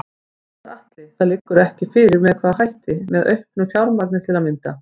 Gunnar Atli: Það liggur ekki fyrir með hvaða hætti, með auknu fjármagn til að mynda?